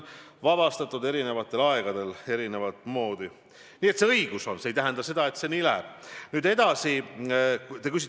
Ma võin täiesti rahulikult kinnitada, et ei siseminister ega rahandusminister ega isegi mitte peaminister ega ka justiitsminister saa mõjutada prokuratuuri.